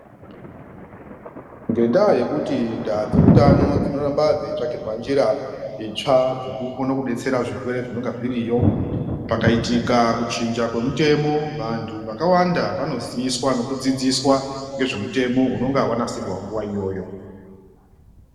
Ngendaa yekuti ndaa dzeutano dzinoramba dzeitsvakirwa njira itsva dzekukone kunetsera zvirwere zvinonga zviriyo. Pakaitika kuchinja kwemutemo vantu vakawanda vanoziswa nekudzidziswa ngezvemutemo unenge vanasirwa nguva iyoyo.